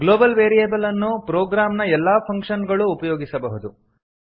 global variable ಅನ್ನು program ನ ಎಲ್ಲ ಫಂಕ್ಷನ್ ಗಳೂ ಉಪಯೋಗಿಸಬಹುದು